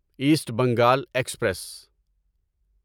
asset Bengal express